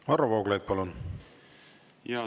Varro Vooglaid, palun!